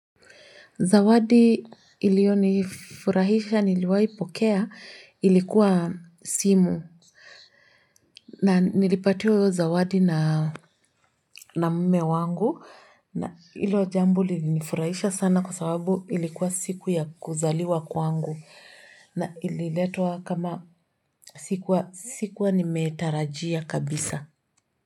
Zawadi iliyonifurahisha niliwaipokea ilikwa simu Nilipatiwa hyo zawadi na mme wangu na ilo jambo ilinifurahisha sana kwa sababu ili kwa siku ya kuzaliwa kwangu na ililetwa kama sikuwa nimetarajia kabisa.